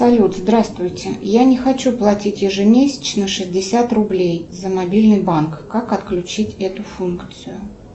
салют здравствуйте я не хочу платить ежемесячно шестьдесят рублей за мобильный банк как отключить эту функцию